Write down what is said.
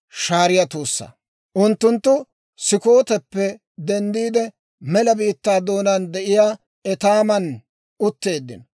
Unttunttu Sukkooteppe denddiide mela biittaa doonaan de'iyaa Etaaman utteeddino.